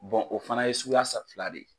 o fana ye suguya sa fila de ye.